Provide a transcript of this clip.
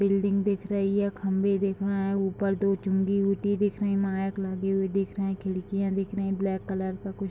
building दिख रही है खंभे दिख रहे हैं ऊपर दो माइक लगे हुए दिख रहे खिड़कियाँ दिख रहे ब्लैक कलर का कुछ --